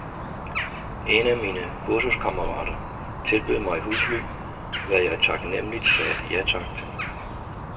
En af mine kursuskammerater tilbød mig husly, hvad jeg taknemmeligt sagde ja tak til.